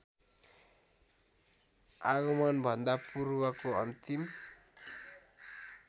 आगमनभन्दा पूर्वको अन्तिम